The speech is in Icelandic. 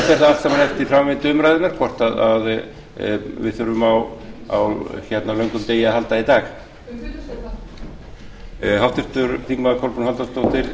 fer það allt eftir framvindu umræðunnar hvort við þurfum á löngum degi að halda í dag